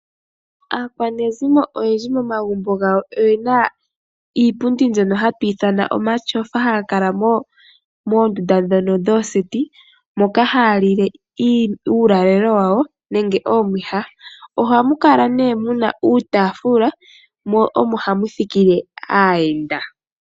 Aakwanezimo oyendji momagumbo gawo oyena iipundi mbyono hatu ithana omatyofa ohaga kala moondunda ndhono dhooseti moka ha lile uulalelo wawo nenge omwiiha ohamu kala ne muna uutafula mo omo hamu thikile aayenda.